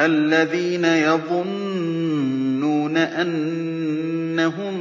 الَّذِينَ يَظُنُّونَ أَنَّهُم